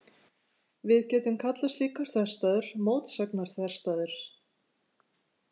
Við getum kallað slíkar þverstæður mótsagnarþverstæður.